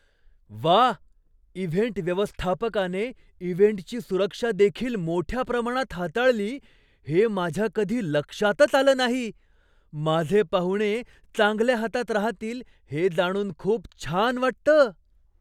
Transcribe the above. व्वा, इव्हेंट व्यवस्थापकाने इव्हेंटची सुरक्षादेखील मोठ्या प्रमाणात हाताळली हे माझ्या कधी लक्षातच आलं नाही! माझे पाहुणे चांगल्या हातात राहतील हे जाणून खूप छान वाटतं.